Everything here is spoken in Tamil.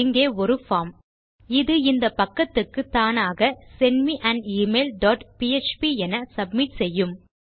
இங்கே ஒரு form160 இது இந்த பக்கத்துக்கு தானாக send me an email dot PHP என சப்மிட் செய்யும்